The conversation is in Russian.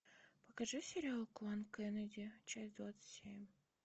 покажи сериал клан кеннеди часть двадцать семь